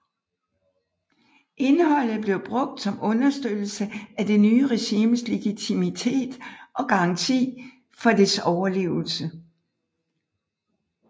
Indholdet blev brugt som understøttelse af det nye regimes legitimitet og garanti for dets overlevelse